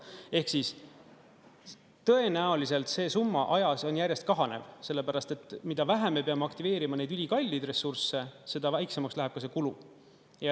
Ehk tõenäoliselt see summa ajas on järjest kahanev, sellepärast et mida vähem me peame aktiveerima neid ülikalleid ressursse, seda väiksemaks läheb ka see kulu.